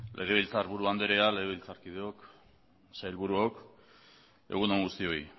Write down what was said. legebiltzarburu andrea legebiltzarkideok sailburuok egun on guztioi